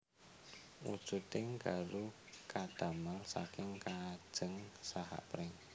Wujuding garu kadamel saking kajeng saha pring